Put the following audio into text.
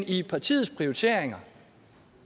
i partiets prioriteringer